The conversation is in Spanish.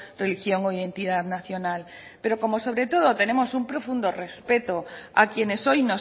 religión o identidad nacional pero como sobre todo tenemos un profundo respeto a quienes hoy